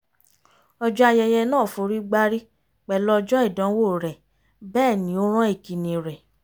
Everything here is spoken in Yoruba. ọjọ́ ayẹyẹ náà forígbárí pẹ̀lú ọjọ́ ìdánwò rẹ̀ bẹ́ẹ̀ ni ó rán ìkíni rẹ̀